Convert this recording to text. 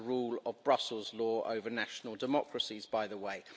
That's the rule of Brussels law over national democracies, by the way.